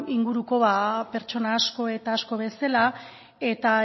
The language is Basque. inguruko pertsona asko eta asko bezala eta